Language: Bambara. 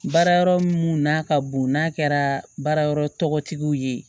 Baara yɔrɔ mun n'a ka bon n'a kɛra baarayɔrɔ tɔgɔtigiw ye